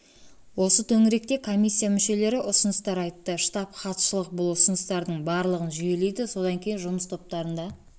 осы төңіректе комиссия мүшелері ұсыныстар айтты штаб хатшылық бұл ұсыныстардың барлығын жүйелейді содан кейін жұмыс топтарында